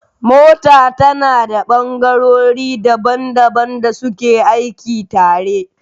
Mota tana da ɓangarori daban daban da suke aiki tare